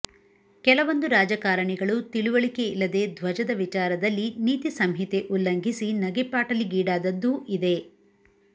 ಕೆಲವೊಂದು ರಾಜಕಾರಣಿಗಳು ತಿಳುವಳಿಕೆಯಿಲ್ಲದೆ ಧ್ವಜದ ವಿಚಾರದಲ್ಲಿ ನೀತಿ ಸಂಹಿತೆ ಉಲ್ಲಂಘಿಸಿ ನಗೆಪಾಟಲಿಗೀಡಾದದ್ದೂ ಇದೆ